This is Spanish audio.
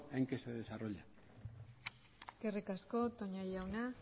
en que se desarrollan eskerrik asko toña jauna